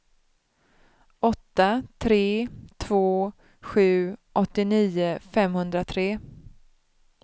åtta tre två sju åttionio femhundratre